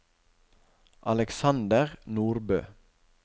Alexander Nordbø